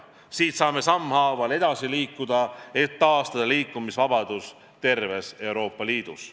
Siit saame sammhaaval edasi liikuda, et taastada liikumisvabadus terves Euroopa Liidus.